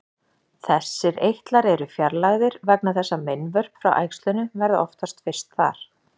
Þessir eitlar eru fjarlægðir vegna þess að meinvörp frá æxlinu verða oftast fyrst þar.